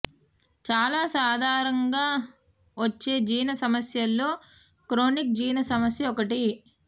చాలా సాధారంగా వచ్చే జీర్ణ సమస్యల్లో క్రోనిక్ జీర్ణ సమస్య ఒకటి